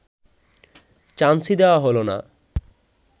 চান্সই দেওয়া হল না